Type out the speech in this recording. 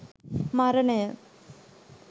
මරණය